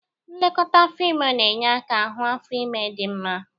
Nlekọta afọ ime na-enye aka hụ afo ime dị mma.